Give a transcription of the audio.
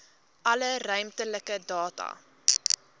alle ruimtelike data